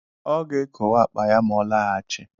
Ọ ga-ekowe akpa ya ma ọ lọghachi